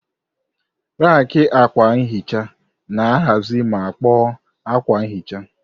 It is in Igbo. Raki akwa nhicha na-ahazi ma kpoo akwa nhicha.